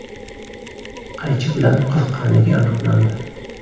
qaychi bilan qirqqanligi aniqlandi.